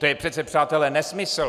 To je přece, přátelé, nesmysl!